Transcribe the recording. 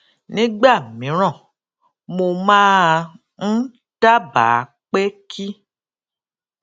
nígbà mìíràn mo máa ń dábàá pé kí